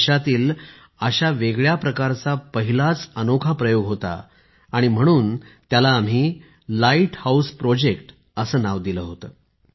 हा देशातील अशा वेगळ्या प्रकारचा पहिलाच प्रयोग होता ज्याला आम्ही लाईट हाऊस प्रयोग असे नाव दिले होते